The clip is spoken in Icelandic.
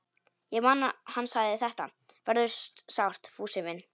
Ég man að hann sagði: Þetta verður sárt, Fúsi minn.